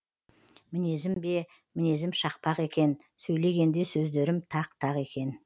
мінезім бе мінезім шақпақ екен сөйлегенде сөздерім тақ тақ екен